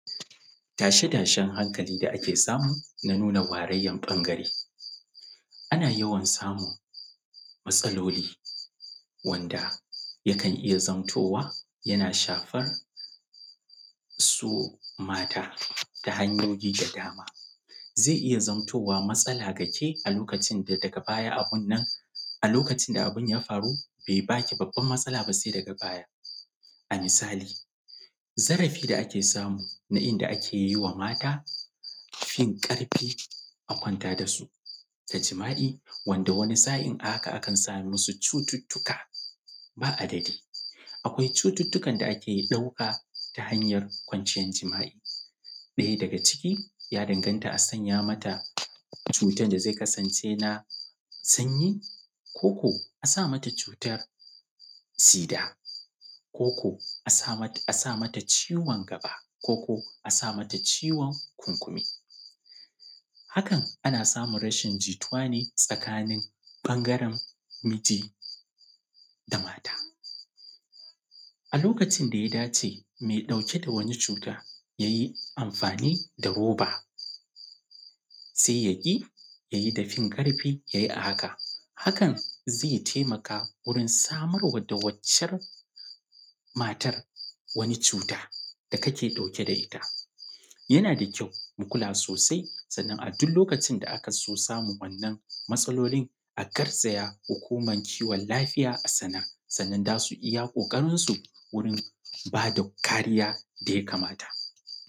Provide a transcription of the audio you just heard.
Tashe-tashen hankali da ake samu na nuna warayyar ɓangare. Ana yawan samun matsaloli wanda yakan iya zamtowa, yana shafar su mata ta hanyoyi da dama. Zai iya zamtowa matsala ga ke a lokacin da daga baya abun nan, a lokacin da abun ya faru, bai ba ki babbar matsala ba sai daga baya. A misali, zarafi da ake samu na inda ake yi wa mata fin ƙarfi, a kwanta da su ta jima’i wanda wani sa’in a haka akan samu wasu cututtuka ba adadi. Akwai cututtukan da ake ɗauka ta hanyar kwanciyar jima’i. Ɗaya daga ciki, ya danganta a sanya mata cutar da zai zai kasance na sanyi; ko ko a sa mata cutar sida; ko ko a sa mata ciwon gaba; ko ko a sa mata ciwon kurkunu. Hakan ana samun rashin jituwa ne tsakanin ɓangaren miji da mata. A lokacin da ya dace mai ɗauke da wani cuta ya yi amfani da roba, sai ya ƙi, ya yi da fin ƙarfi ya yi a haka. Hakan zai taimaka wurin samar wa da waccar matar wani cuta da kake ɗauke da ita. Yana da kyau, mu kula sosai, sannan a duk lokacin da aka so samun wannan matsalolin, a garzaya Hukumar Kiwon Lafiya a sanar, sannan za su yi iya ƙoƙarinsu wurin ba da kariya da ya kamata.